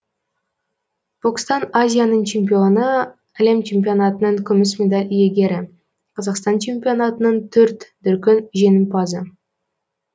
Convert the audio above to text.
бокстан азияның чемпионы әлем чемпионатының күміс медаль иегері қазақстан чемпионатының төрт дүркін жеңімпазы